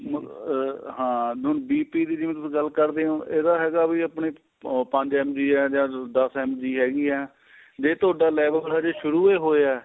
ਮ ਹਾਂ BP ਦੀ ਜਿਵੇਂ ਗੱਲ ਕਰਦੇ ਓ ਇਹਦਾ ਹੈਗਾ ਵੀ ਆਪਣੀ ਓ ਪੰਜ MG ਏ ਜਾਂ ਦੱਸ MG ਹੈਗੀ ਏ ਜੇ ਤੁਹਾਡਾ level ਮਾੜਾ ਜਾ ਸ਼ੁਰੂ ਹੋਇਆ